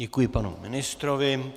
Děkuji panu ministrovi.